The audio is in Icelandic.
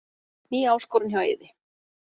Ný áskorun hjá Eiði